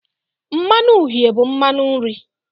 Mmanu uhie bụ mmanụ nri.